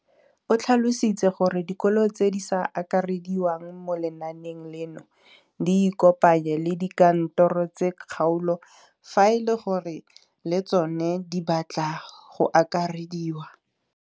O tlhalositse gore dikolo tse di sa akarediwang mo lenaaneng leno di ikopanye le dikantoro tsa kgaolo fa e le gore le tsona di batla go akarediwa.